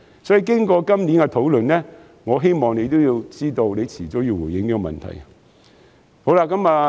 所以，經過今年的討論，我希望司長也知道早晚要回應這個問題。